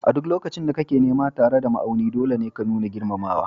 A duk lokacin da kake nama tare da ma'auni, dole ne ka nuna girmamawa